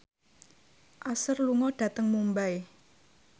Usher lunga dhateng Mumbai